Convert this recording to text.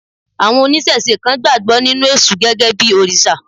Àwọn oníṣẹ̀se kan gbàgbọ́ nínú èṣù gẹ́gẹ́ bí òrìṣà.